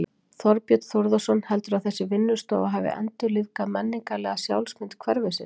Þorbjörn Þórðarson: Heldurðu að þessi vinnustofa hafi endurlífgað menningarlega sjálfsmynd hverfisins?